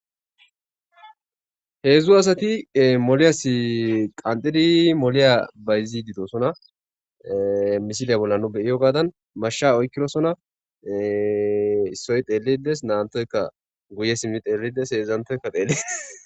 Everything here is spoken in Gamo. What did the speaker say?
Heedzu asati moliyassi qanxxidi moliya bayzishe de'osona.misiliya bolla nu be'iyogadan, mashsha oykidosona. Issoyka xeelidi dees. Nam'anthoyka guye simmi xeelidi dees. Heedzanthoyka xeelees.